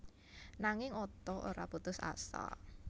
Nanging Otto ora putus asa